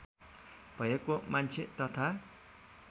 भएको मान्छे तथा